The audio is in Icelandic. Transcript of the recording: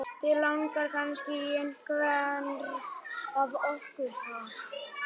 Þig langar kannski í einhvern af okkur, ha?